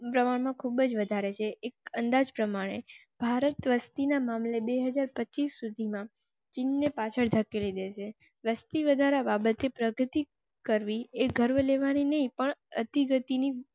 બજ વધારે છે. એક અંદાજ પ્રમાણે ભારતની વસતી ના મામલે બે હાજર પચીસ સુધી માં ચીન ને પાછળ ધકેલી દે વસ્તી વધારા બાબતે પ્રગતિ કરવી. એક ગર્વ લેવા ની ને પણ અતિ ગતિ